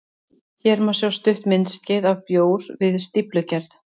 Hér má sjá stutt myndskeið af bjór við stíflugerð.